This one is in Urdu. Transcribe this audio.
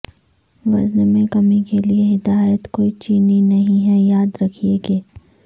وزن میں کمی کے لئے ہدایت کوئی چینی نہیں ہے یاد رکھیں کہ